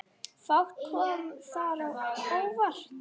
Fátt kom þar á óvart.